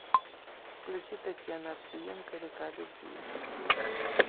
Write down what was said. включи татьяна овсиенко река любви